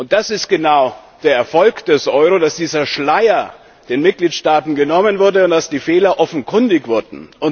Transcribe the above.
Das ist genau der Erfolg des Euro, dass dieser Schleier den Mitgliedstaaten genommen wurde und dass die Fehler offenkundig wurden.